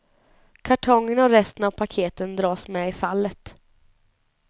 Kartongen och resten av paketen dras med i fallet.